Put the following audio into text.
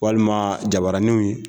Walima jabaraninw ye